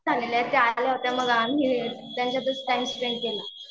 झालेले आहेत ते आले होते, त्यांच्यातच टाइम स्पेंड केला.